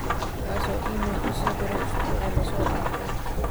kaasoo iimayl ii soo diray usbuucii la soo dhaafay